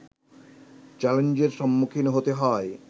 চ্যালেঞ্জের সম্মুখীন হতে হয়